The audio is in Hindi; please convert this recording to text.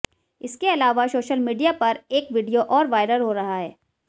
इसके अलावा सोशल मीडिया पर एक वीडियो और वायरल हो रहा है